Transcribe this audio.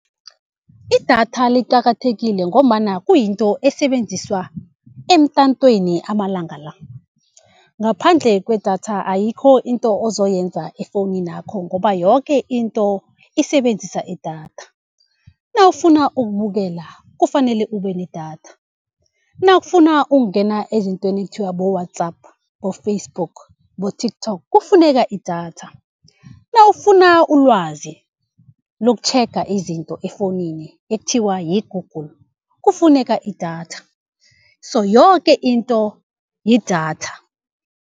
Idatha liqakathekile ngombana kuyinto esebenziswa emtatweni amalanga la, ngaphandle kwedatha ayikho into ozoyenza efowuninakho ngoba yoke into isebenzisa idatha. Nawufuna ukubukela kufanele ube nedatha, nawufuna ukungena ezintweni ekuthiwa bo-WhatsApp, bo-Facebook, bo-TikTok kufuneka idatha. Nawufuna ulwazi lokutjhega izinto efowunini, ekuthiwa yi-Google kufuneka idatha, so yoke into yidatha.